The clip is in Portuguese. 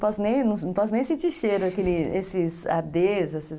Posso nem , não posse nem sentir cheiro, esses Ades.